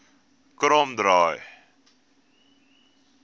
kromdraai